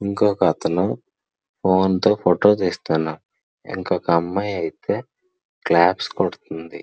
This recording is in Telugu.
ఇంకొకతను ఫోన్ తో ఫోటో తీస్తున్నాడు ఇంకొక అమ్మాయయితే క్లాప్స్ కొడుతుంది.